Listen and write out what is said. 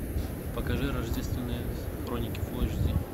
покажи рождественные хроники фул эйч ди